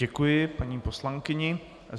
Děkuji paní poslankyni.